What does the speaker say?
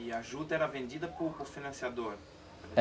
E a juta era vendida por por financiador?